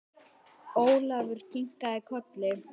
Ólafur kinkaði kolli.